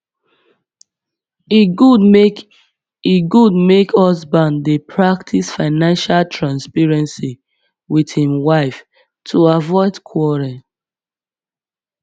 e good make e good make husband dey practice financial transparency with im wife to avoid quarrel